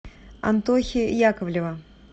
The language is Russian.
антохи яковлева